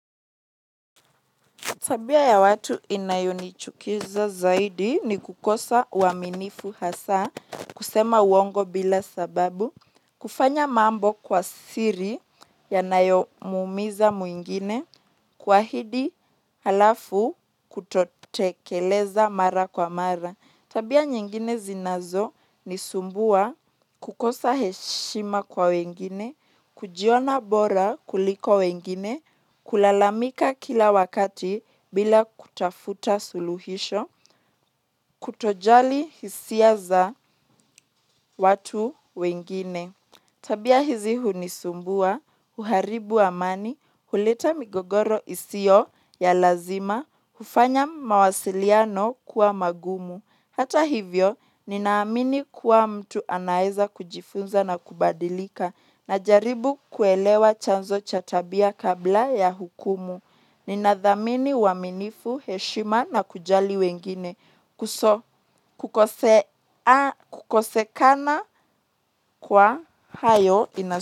Tabia ya watu inayonichukiza zaidi ni kukosa uaminifu hasa, kusema uongo bila sababu, kufanya mambo kwa siri yanayomuumiza mwingine, kuahidi halafu kutotekeleza mara kwa mara. Tabia nyingine zinazonisumbua kukosa heshima kwa wengine, kujiona bora kuliko wengine, kulalamika kila wakati bila kutafuta suluhisho, kutojali hisia za watu wengine tabia hizi hunisumbua, huharibu amani, huleta migogoro isiyo ya lazima, hufanya mawasiliano kuwa magumu. Hata hivyo, ninaamini kuwa mtu anaweza kujifunza na kubadilika, na jaribu kuelewa chanzo cha tabia kabla ya hukumu. Ninadhamini uaminifu, heshima na kujali wengine kukosekana kwa hayo ina.